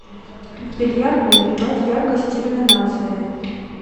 в бильярдной прибавь яркость иллюминации